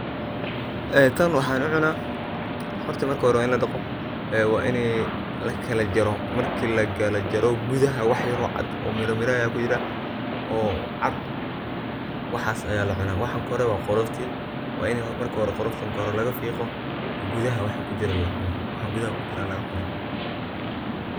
Ee tan waxan kucuna , harta marki hore wa in ladaqa wa ini lakala jaro, marki lakala jaro gudahaa wax yar oo cat oo miramira aya kujira oo cad waxas aya lacuna, waxa kore waa qolofti. waa in marki hore qolofta kore laga fiqo gudaha waxa kujiro lacuno waxa gudaha kujira lagacuna.